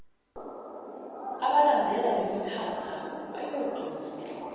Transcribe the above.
abalandela lemikhakha bayogculiseka